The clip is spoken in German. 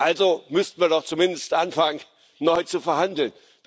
Also müssten wir doch zumindest anfangen, neu zu verhandeln.